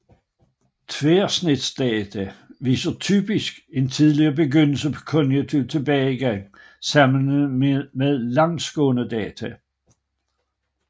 Tværsnitsdata viser typisk en tidligere begyndelse på kognitiv tilbagegang sammenlignet med langsgående data